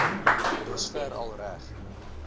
dusver al reg